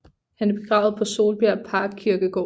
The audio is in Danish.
Han er begravet på Solbjerg Parkkirkegård